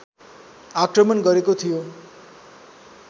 आक्रमण गरेको थियो